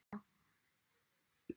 Hvað eru þeir að segja?